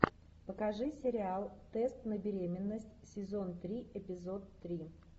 покажи сериал тест на беременность сезон три эпизод три